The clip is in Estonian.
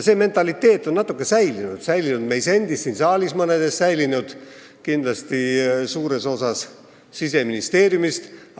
See mentaliteet on natuke säilinud, see on säilinud meil endil siin saalis, mõnel meist, säilinud kindlasti suurel osal Siseministeeriumi töötajatest.